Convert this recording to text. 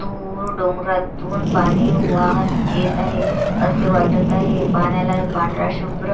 दूर डोंगरातून पाणी वाहत येत आहे असे वाटत आहे पाण्याला हे पांढरा शुभ्र--